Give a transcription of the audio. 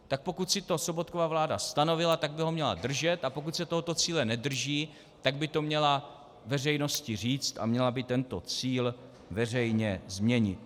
Tak pokud si to Sobotkova vláda stanovila, tak by ho měla držet, a pokud se tohoto cíle nedrží, tak by to měla veřejnosti říct a měla by tento cíl veřejně změnit.